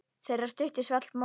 Þeirri stuttu svall móður.